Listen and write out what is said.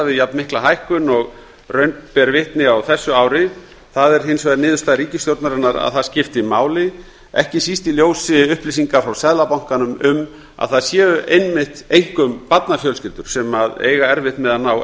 við jafn mikla hækkun og raun ber vitni á þessu ári það er hins vegar niðurstaða ríkisstjórnarinnar að það skipti máli ekki síst í ljósi upplýsinga frá seðlabankanum um að það séu einmitt einkum barnafjölskyldur sem eiga erfitt með að ná